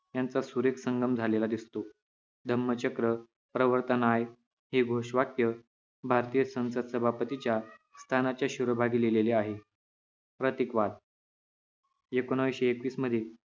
यांचा सुरेख संगम झालेला दिसतो धम्मचक्र प्रवर्तनाय हे घोषवाक्य भारतीय संसद सभापतीच्या स्थानाच्या शिरोभागी लिहिलेले आहे प्रतिकवाद एकोणाविशे एकवीस मध्ये